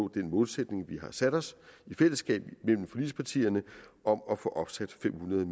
den målsætning vi har sat os i fællesskab mellem forligspartierne om at få opsat fem hundrede